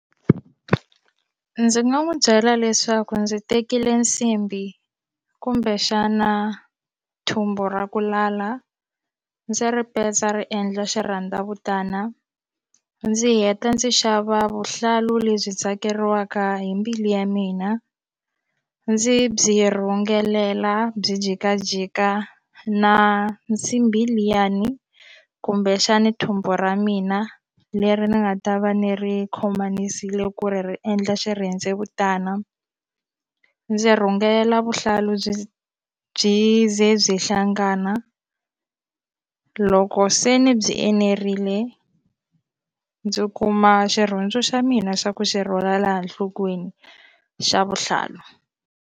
Ndzi nga n'wi byela leswaku ndzi tekile nsimbi kumbexana thumbu ra ku lala ndzi ri petsa ri endla xirhendzevutana ndzi heta ndzi xava vuhlalu lebyi tsakeriwaka hi mbilu ya mina ndzi byi rhungelela byi jikajika na nsimbi liyani kumbexani thumbu ra mina leri ni nga ta va ni ri khomanisile ku ri ri endla xirhendzevutana ndzi rhungela vuhlalu byi byi ze byi hlangana loko se ni byi enerile ndzi kuma xirhundzu xa mina xa ku xi rhwala laha nhlokweni xa vuhlalu.